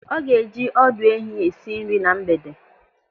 Ọ ga-eji ọdụ ehi esi nri na mgbede.